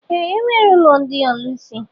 Ee, e nwere ụlọ ndị ọlusi